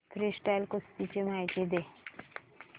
freestyle कुस्ती ची माहिती दे